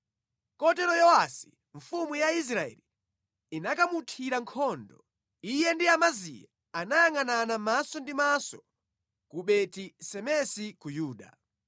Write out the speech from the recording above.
Kotero Yowasi mfumu ya Israeli inakamuthira nkhondo. Iye ndi Amaziya anayangʼanana maso ndi maso ku Beti-Semesi ku Yuda.